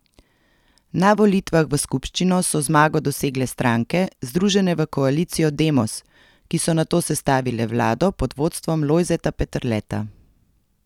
Na volitvah v skupščino so zmago dosegle stranke, združene v koalicijo Demos, ki so nato sestavile vlado pod vodstvom Lojzeta Peterleta.